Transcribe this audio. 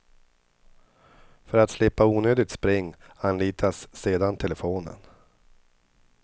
För att slippa onödigt spring anlitas sedan telefonen.